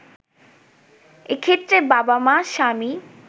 এক্ষেত্রে বাবা-মা, স্বামী